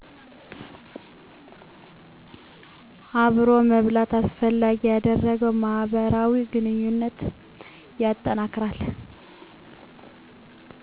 አብሮ መብላት አስፈላጊ ያደረገው ማህበራዊ ግንኙነትን ያጠናክራል